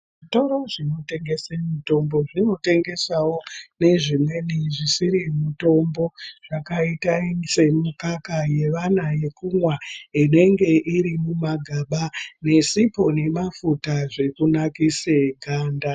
Zvitoro zvinotengese mitombo zvinotengesawo, nezvimweni zvisiri mutombo, zvakaita semikaka yevana yekumwa, inenge iri mumagaba, nesipho nemafuta zvekunakise ganda.